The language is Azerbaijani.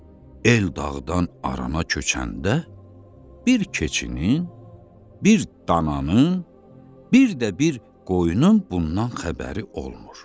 el dağdan arana köçəndə bir keçinin, bir dananın, bir də bir qoyunun bundan xəbəri olmur.